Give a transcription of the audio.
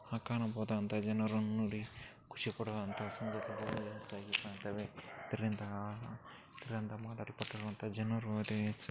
ಆ ಕಾಣಬಹುದಾದ ಅಂತಾ ಜನರು ನೋಡಿ ಖುಷಿ ಪಡುವಂತಹ ಸಂದರ್ಭದಲ್ಲಿ ಕಾಣತ್ತವೆ ಇದರಿಂದ ಇದರಿಂದ ಮಾತಾಡಪಟ್ಟಳು ಜನರೊ ಅದೇ--